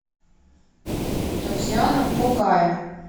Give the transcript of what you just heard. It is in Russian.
татьяна кокая